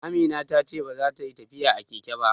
Amina ta ce baza ta yi tafiya a keke ba